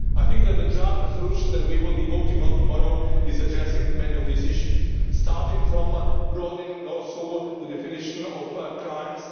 I think that the joint resolution that we will be voting on tomorrow addresses many of these issues, starting from broadening the definition of crimes.